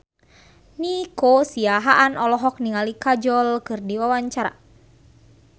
Nico Siahaan olohok ningali Kajol keur diwawancara